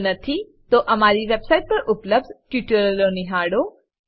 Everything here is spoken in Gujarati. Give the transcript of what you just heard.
જો નથી તો અમારી વેબ સાઈટ પર ઉપલબ્ધ ટ્યુટોરીયલનો સંદર્ભ લો